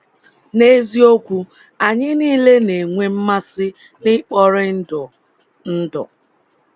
N’eziokwu, anyị nile na - enwe mmasị n’ikpori ndụ. ndụ.